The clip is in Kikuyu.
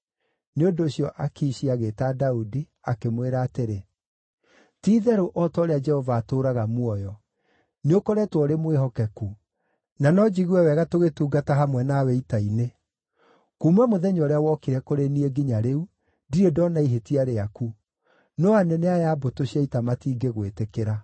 Nĩ ũndũ ũcio Akishi agĩĩta Daudi, akĩmwĩra atĩrĩ, “Ti-itherũ o ta ũrĩa Jehova atũũraga muoyo, nĩũkoretwo ũrĩ mwĩhokeku, na no njigue wega tũgĩtungata hamwe nawe ita-inĩ. Kuuma mũthenya ũrĩa wokire kũrĩ niĩ nginya rĩu, ndirĩ ndoona ihĩtia rĩaku, no anene aya a mbũtũ cia ita matingĩgwĩtĩkĩra.